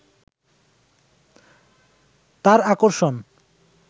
তার আকর্ষণ